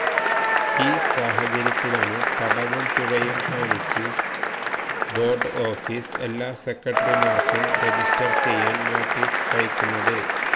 ഈ സാഹചര്യത്തിലാണ് തടവും പിഴയും കാണിച്ച് ബോര്ഡ് ഓഫീസ് എല്ലാ സെക്രട്ടറിമാര്ക്കും റജിസ്റ്റര് ചെയ്യാന് നോട്ടീസ് അയക്കുന്നത്